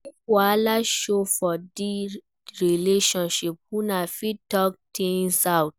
If wahala show for di relationship una fit talk things out